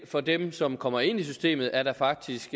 for dem som kommer ind i systemet er der faktisk